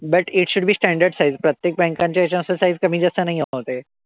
But it should be standard size. प्रत्येक banks च्या ह्याच्यानुसार size कमी जास्त नाही होत आहे.